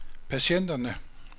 patienterne